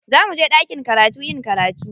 Za muje ɗakin karatu yin karatu.